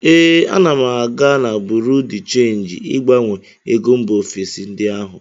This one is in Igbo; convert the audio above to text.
Ee, ana m aga na buru de chenji ịgbanwe ego mba ofesi ndị ahụ.